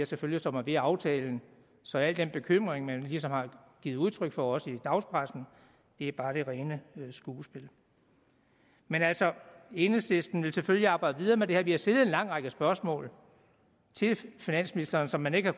selvfølgelig står man ved aftalen så al den bekymring man ligesom har givet udtryk for også i dagspressen er bare det rene skuespil men altså enhedslisten vil selvfølgelig arbejde videre med det her vi har stillet en lang række spørgsmål til finansministeren som man ikke har